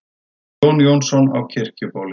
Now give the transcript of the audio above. Jón Jónsson á Kirkjubóli